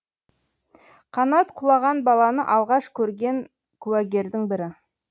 қанат құлаған баланы алғаш көрген куәгердің бірі